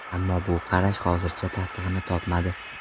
Ammo bu qarash hozircha tasdig‘ini topmadi.